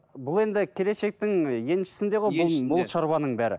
бұл енді келешектің еншісінде ғой бұл бұл шаруаның бәрі